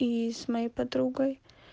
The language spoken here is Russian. и с моей подругой